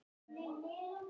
Það kemur þessu máli við.